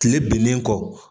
Kile bilen kɔ.